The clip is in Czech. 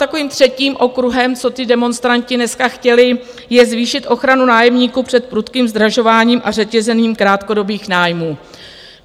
Takovým třetím okruhem, co ti demonstranti dneska chtěli, je zvýšit ochranu nájemníků před prudkým zdražováním a řetězením krátkodobých nájmů.